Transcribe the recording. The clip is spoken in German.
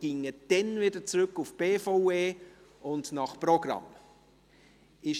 Wir würden dann wieder zu den Geschäften der BVE zurückspringen und nach Programm vorgehen.